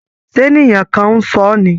Ṣé ènìyàn kan ń ṣọ́ ni?